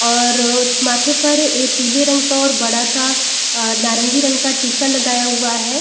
और उस माथे पर पीले रंग का और बड़ा-सा नारंगी रंग का टीका लगाया हुआ है।